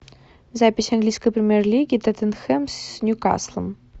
запись английской премьер лиги тоттенхэм с ньюкаслом